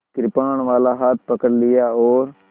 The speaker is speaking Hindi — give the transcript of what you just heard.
कृपाणवाला हाथ पकड़ लिया और